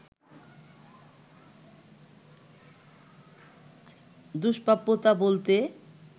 দূস্প্রাপ্যতা বলতে